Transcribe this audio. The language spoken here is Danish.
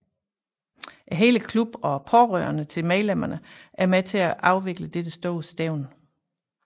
Hele klubben og pårørende til medlemmerne er med til afvikle dette store stævne